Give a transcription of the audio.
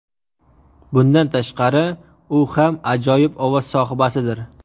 Bundan tashqari, u ham ajoyib ovoz sohibasidir.